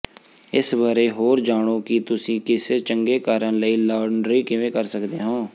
ਇਸ ਬਾਰੇ ਹੋਰ ਜਾਣੋ ਕਿ ਤੁਸੀਂ ਕਿਸੇ ਚੰਗੇ ਕਾਰਨ ਲਈ ਲਾਂਡਰੀ ਕਿਵੇਂ ਕਰ ਸਕਦੇ ਹੋ